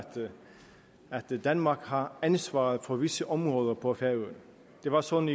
danmark har ansvaret for visse områder på færøerne det var sådan